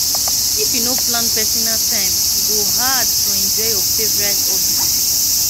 if you no plan personal time e go hard to enjoy your favorite hobbies